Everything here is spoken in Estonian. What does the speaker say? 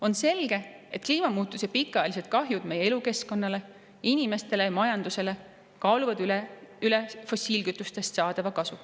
On selge, et kliimamuutuse pikaajalised kahjud meie elukeskkonnale, inimestele ja majandusele kaaluvad üles fossiilkütustest saadava kasu.